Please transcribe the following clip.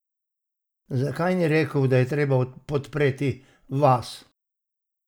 Zakaj ni rekel, da je treba podpreti vas?